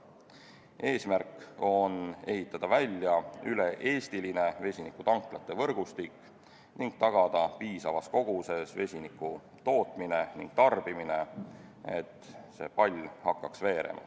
Eesmärk on ehitada välja üle-eestiline vesinikutanklate võrgustik ning tagada piisavas koguses vesiniku tootmine ja tarbimine, et see pall hakkaks veerema.